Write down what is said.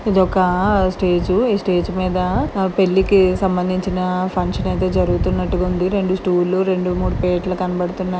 ఇది ఒక ఆ స్టేజి . ఈ స్టేజి మీద పెళ్ళికి సంబదించిన ఫంక్షన్ ఎదో జరుగుతున్నాటు గా ఉంది . రెండు స్టూల్ రెండు మూడు పీటలు కనబడుతున్నాయ్.